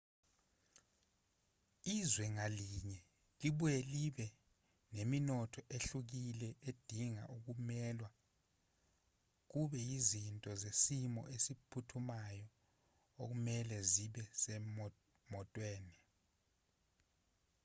izwe ngalinye libuye libe nemithetho ehlukile edinga okumelwe kube yizinto zesimo esiphuthumayo okumelwe zibe semotweni